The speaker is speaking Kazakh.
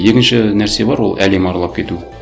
екінші нәрсе бар ол әлем аралап кету